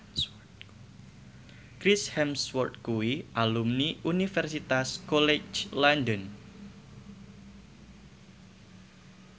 Chris Hemsworth kuwi alumni Universitas College London